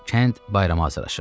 Kənd bayrama hazırlaşırdı.